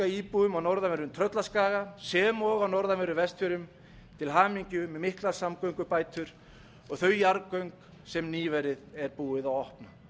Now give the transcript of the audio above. íbúum á norðanverðum tröllaskaga sem og á norðanverðum vestfjörðum til hamingju með miklar samgöngubætur og þau jarðgöng sem nýverið er búið að opna